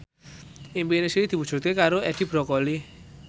impine Sri diwujudke karo Edi Brokoli